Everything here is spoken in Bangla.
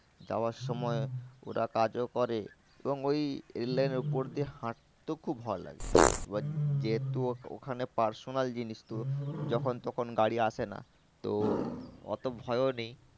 যাওয়ার সময় ওরা কাজও করে এবং ওই rail line এর উপর দিয়ে হাঁটতেও খুব ভালো লাগে এবার যেহেতু ওখানে personal জিনিস তো যখন তখন আসে না তো অত ভয়ও নেই।